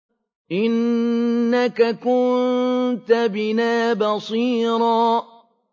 إِنَّكَ كُنتَ بِنَا بَصِيرًا